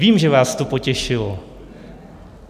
Vím, že vás to potěšilo.